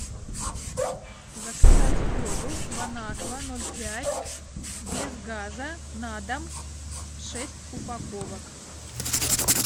заказать воду бонаква ноль пять без газа на дом шесть упаковок